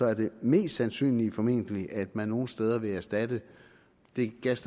at det mest sandsynlige formentlig er at man nogle steder vil erstatte den gas